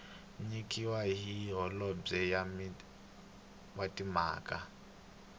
nyikiwaka hi holobye wa timhaka